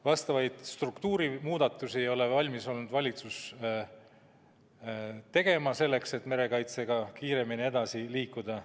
Vastavaid struktuurimuudatusi ei ole valitsus olnud valmis tegema, selleks et merekaitsega kiiremini edasi liikuda.